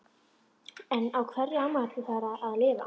En á hverju á maður að lifa?